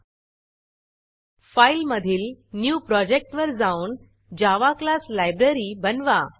Fileफाइल मधील न्यू Projectन्यू प्रॉजेक्ट वर जाऊन जावा क्लास Libraryजावा क्लास लाइब्ररी बनवा